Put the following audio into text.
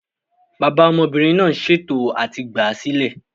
Bàbá ọmọbìnrin náà ń ṣè tò à ti gbáa sílẹ̀